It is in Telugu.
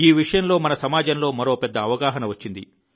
ఈ విషయంలో మన సమాజంలో మరో పెద్ద అవగాహన వచ్చింది